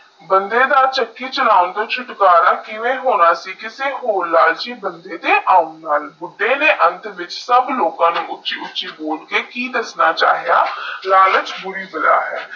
ਬੰਦਾ ਦਾ ਚੱਕੀ ਚਲੋਂਦਾ ਛੁਟਕਾਰਾ ਕਿਵੇ ਹੋਣਾ ਸੀ ਕਿਸੀ ਓਰ ਲਾਲਚੀ ਬੰਦੇ ਆਓਨ ਨਾਲ ਬੁੱਦੇ ਨੇਈ ਅੰਤ ਵਿੱਚ ਉਚੇ ਉਚੇ ਕਿ ਬੋਲ ਕੇ ਦਾਸ ਛਾਇਆ ਲਾਲਚ ਬੁਰੀ ਬਲਾ ਹੈ